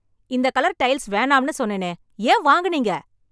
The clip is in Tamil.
இந்த கலர் டைல்ஸ் வேணாம்னு சொன்னேனே, ஏன் வாங்கினீங்க?